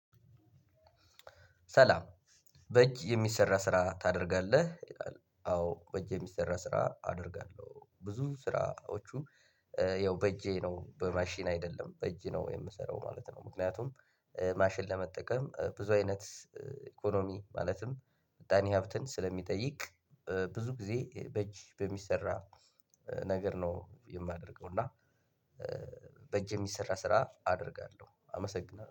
ሰላም በእጅ የሚሰራ ስራ ታደርጋለህ? አዎ በእጅ የሚሰራ ስራ አደርጋለሁ ብዙ ስራዎቹ። ያው በእጄ ነው በማሽን አይደለም በእጅ ነው የምሰራው ማለት ነው። ምክንያቱም ማሽን ለመጠቀም ብዙ አይነት ኢኮኖሚ ማለትም ምጣኔ ሀብትን ስለሚጠይቅ ብዙ ጊዜ በእጅ በሚሰራ ነገር ነው የማደርገው። እና በእጅ የሚሰራ ስራ አደርጋለሁ አመሰግናለሁ